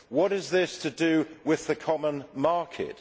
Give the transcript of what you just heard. What is this to do with the common market?